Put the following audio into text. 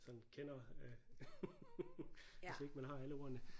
Sådan kender øh hvis ikke man har alle ordene